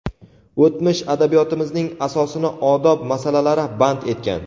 o‘tmish adabiyotimizning asosini odob masalalari band etgan.